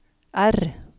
R